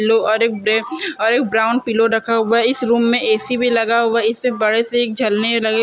लो और एक ग्रे और एक ब्राउन पिलो रखा हुवा है इस रूम मे ऐ_सी भी लगा हुवा है इस से बड़े से एक झलने लगे --